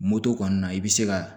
Moto kɔni na i bɛ se ka